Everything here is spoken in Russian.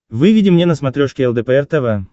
выведи мне на смотрешке лдпр тв